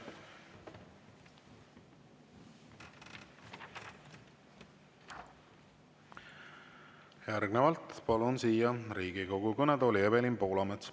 Järgnevalt palun siia Riigikogu kõnetooli Evelin Poolametsa.